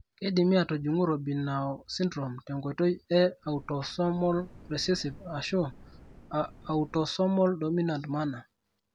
Keidimi atujung Robinow syndrome tenkoitoi e autosomal recessive ashuu autosomal dominant manner.